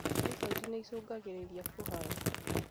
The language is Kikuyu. Typhoid nĩicungagĩrĩra kũharwo.